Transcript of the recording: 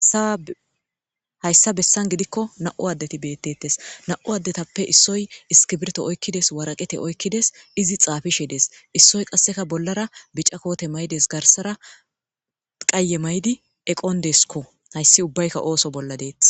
ssa hayssa bessan gidikko na7u addeti beettettes na7u addetappe issoy iskibirto oykkides waraqete oykkides izi xaafishe dees issoy qasseka bollara bicakoote maydes garsara qaye maydi eqon deeskko hayssi ubbaykka ooso bolla deet